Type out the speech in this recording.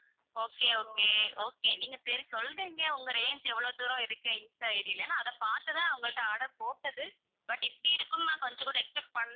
okay okay okay நீங்க சரி சொல்றீங்க உங்க range எவ்ளோ தூரம் இருக்கு இன்ஸ்டா ID ல நான் அதை பாத்து தான் நான் உங்கள்ட்ட order போட்டது, but இப்படி இருக்கும்ன்னு நான் கொஞ்சம் கூட expect பண்ணல.